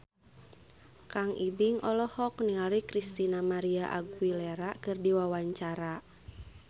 Kang Ibing olohok ningali Christina María Aguilera keur diwawancara